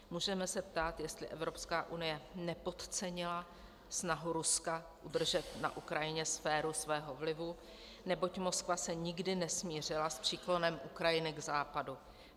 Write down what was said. Můžeme se ptát, jestli Evropská unie nepodcenila snahu Ruska udržet na Ukrajině sféru svého vlivu, neboť Moskva se nikdy nesmířila s příklonem Ukrajiny k Západu.